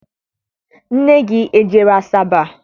Nne gị ejere Asaba?